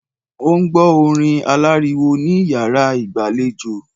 Ó n gbó orin aláriwo ní iyàrá ìgbàlejò